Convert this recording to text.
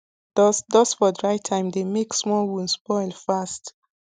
dust dust for dry time dey make small wound spoil fast